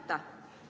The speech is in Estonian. Aitäh!